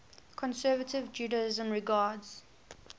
conservative judaism regards